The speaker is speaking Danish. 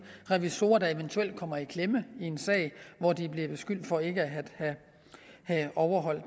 revisorer der eventuelt kommer i klemme i en sag hvor de er blevet beskyldt for ikke at have overholdt